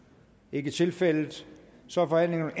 ikke tilfældet så er forhandlingen